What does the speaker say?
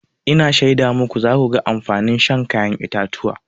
Ina shaida muku za ku ga amfanin shan kayan itatuwa.